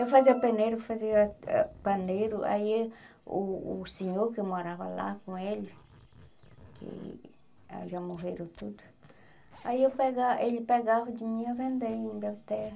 Eu fazia peneiro, fazia ah paneiro, aí o o senhor que eu morava lá com ele, que já morreram tudo, aí ele pega ele pegava de mim e ia vender em Belterra.